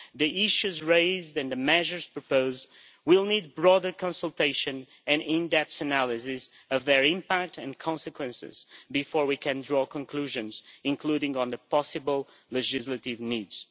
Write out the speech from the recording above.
The issues raised and the measures proposed will need broader consultation and an in depth analysis of their impact and consequences before we can draw conclusions, including on the possible legislative needs.